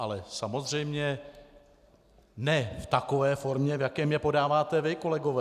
Ale samozřejmě ne v takové formě, v jaké je podáváte vy, kolegové.